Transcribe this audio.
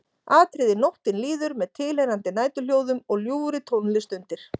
Atriði Nóttin líður með tilheyrandi næturhljóðum og ljúfri tónlist undir.